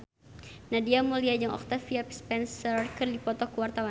Nadia Mulya jeung Octavia Spencer keur dipoto ku wartawan